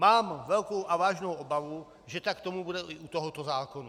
Mám velkou a vážnou obavu, že tak tomu bude i u tohoto zákona.